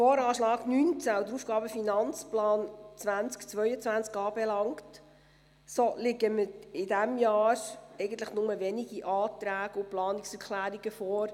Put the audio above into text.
Was den VA 2019 und den AFP 2020–2022 anbelangt, liegen in diesem Jahr eigentlich nur wenige Anträge und Planungserklärungen vor.